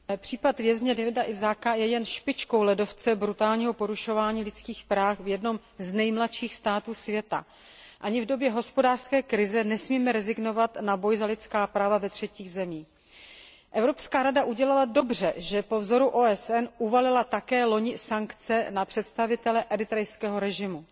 Pane předsedající, případ vězně Dawita Isaaka je jen špičkou ledovce brutálního porušování lidských práv v jednom z nejmladších států světa. Ani v době hospodářské krize nesmíme rezignovat na boj za lidská práva ve třetích zemích. Evropská rada udělala dobře, že po vzoru OSN loni také uvalila sankce na představitele eritrejského režimu.